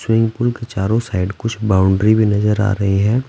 Swimming pool के चारों side कुछ बाउंड्री भी नजर आ रही हैं ।